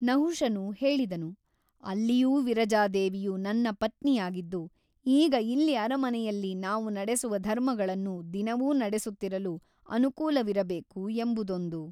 ನಹುಷನು ಹೇಳಿದನು ಅಲ್ಲಿಯೂ ವಿರಜಾದೇವಿಯು ನನ್ನ ಪತ್ನಿಯಾಗಿದ್ದು ಈಗ ಇಲ್ಲಿ ಅರಮನೆಯಲ್ಲಿ ನಾವು ನಡೆಸುವ ಧರ್ಮಗಳನ್ನು ದಿನವೂ ನಡೆಸುತ್ತಿರಲು ಅನುಕೂಲವಿರಬೇಕು ಎಂಬುದೊಂದು.